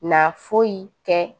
Na foyi tɛ